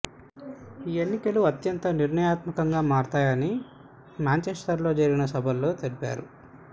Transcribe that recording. ఈ ఎన్నికలు అత్యంత నిర్ణయాత్మకంగా మారుతాయని మాంఛెస్ట ర్లో జరిగిన సభలలో తెలిపారు